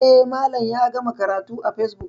E, Malam ya gama karatu a facebook.